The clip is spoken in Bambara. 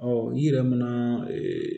i yɛrɛ mana ee